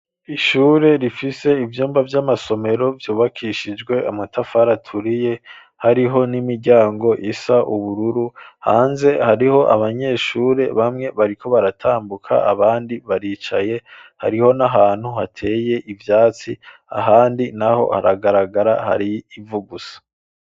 Ishure rifise ivyumba vy'amasomero vyubakishijwe amatafari aturiye hariho n'imiryango isa ubururu, hanze hariho abanyeshure bamwe bariko baratambuka, abandi baricaye . Hariho n'ahantu hateye ivyatsi, ahandi naho haragaragara hari ivu gusa.